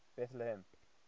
betlehem